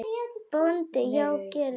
BÓNDI: Já, gerið það.